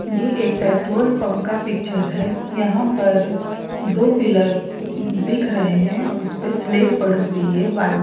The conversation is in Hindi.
यह एक पेट्रोल पंप का पिक्चर है यहाँ पर दो पिलर दिख रही है उसपे स्लेट पड़ी हुई है --